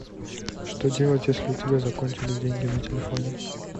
что делать если у тебя закончились деньги на телефоне